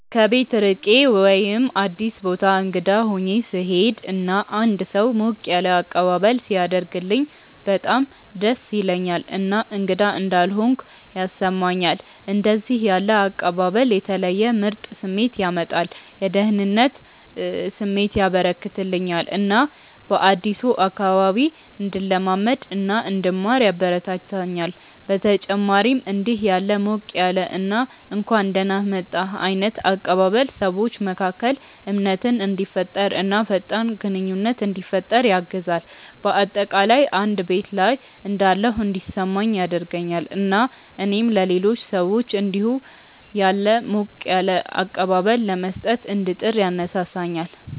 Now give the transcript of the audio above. ከቤት ርቄ ወይም አዲስ ቦታ እንግዳ ሆኜ ስሄድ እና አንድ ሰው ሞቅ ያለ አቀባበል ሲያደርግልኝ በጣም ደስ ይለኛል እና እንግዳ እንዳልሆንኩ ያስሰማኛል። እንደዚህ ያለ አቀባበል የተለየ ምርጥ ስሜት ያመጣል፤ የደህንነት ስሜት ያበረከተልኛል እና በአዲሱ አካባቢ እንድለማመድ እና እንድማር ያበረታታኛል። በተጨማሪም እንዲህ ያለ ሞቅ ያለ እና እንኳን ደህና መጣህ ዓይነት አቀባበል ሰዎች መካከል እምነትን እንዲፈጠር እና ፈጣን ግንኙነት እንዲፈጠር ያግዛል። በአጠቃላይ እንደ ቤት ላይ እንዳለሁ እንዲሰማኝ ያደርገኛል እና እኔም ለሌሎች ሰዎች እንዲሁ ያለ ሞቅ ያለ አቀባበል ለመስጠት እንድጥር ያነሳሳኛል።